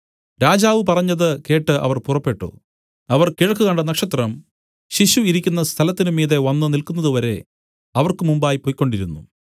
രാജാവ് പറഞ്ഞത് കേട്ട് അവർ പുറപ്പെട്ടു അവർ കിഴക്ക് കണ്ട നക്ഷത്രം ശിശു ഇരിക്കുന്ന സ്ഥലത്തിന് മീതെ വന്നുനില്ക്കുന്നതുവരെ അവർക്ക് മുമ്പായി പൊയ്ക്കൊണ്ടിരുന്നു